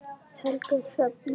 Helga Hrefna.